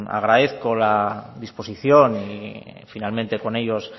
agradezco la disposición y finalmente con ellos